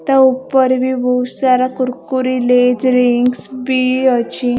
ତା ଉପରେ ବି ବହୁସାରା କୁରକୁରୀ ଲେଜ ରିଙ୍ଗସ୍ ବି ଅଛି ।